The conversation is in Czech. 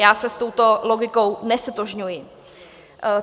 Já se s touto logikou neztotožňuji.